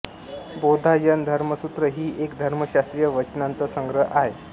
बौधायन धर्मसूत्र ही एक धर्मशास्त्रीय वचनांचा संग्रह आहे